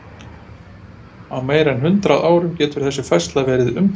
Á meira en hundrað árum getur þessi færsla verið umtalsverð.